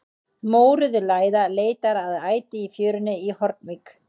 Mórauð læða leitar að æti í fjörunni í Hornvík.